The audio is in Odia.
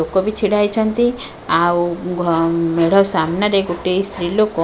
ଲୋକ ବି ଛିଡ଼ା ହେଇଛନ୍ତି ଆଉ ଘ ମେଢ଼ ସାମ୍ନାରେ ଗୋଟେ ସ୍ତ୍ରୀ ଲୋକ --